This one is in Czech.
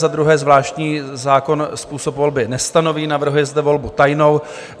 Za druhé, zvláštní zákon způsob volby nestanoví, navrhuje zde volbu tajnou.